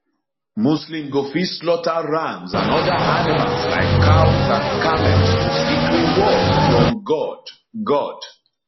muslim go fit slaughter rams and oda animals like cows and camels to seek reward from god god